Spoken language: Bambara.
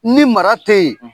Ni mara tɛ yen;